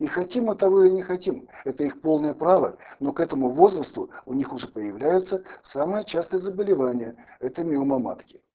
и хотим мы того или не хотим это их полное право но к этому возрасту у них уже появляется самое частое заболевание это миома матки